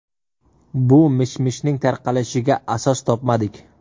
Bu mish-mishning tarqalishiga asos topmadik.